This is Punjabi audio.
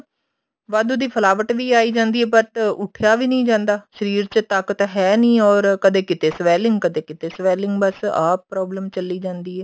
ਵਾਧੂ ਦੀ ਫਲਾਵਟ ਵੀ ਆਈ ਜਾਂਦੀ ਹੈ but ਉੱਠਿਆ ਵੀ ਨੀ ਜਾਂਦਾ ਸ਼ਰੀਰ ਚ ਤਾਕਤ ਹੈ ਨੀ or ਕਦੇ ਕਿਤੇ swelling ਕਦੇ ਕਿਤੇ swelling ਬੱਸ ਆਹ problem ਚੱਲੀ ਜਾਂਦੀ ਹੈ